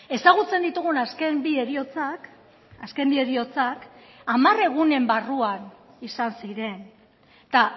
ezagutzen ditugun azken bi heriotzak azken bi heriotzak hamar egunen barruan izan ziren eta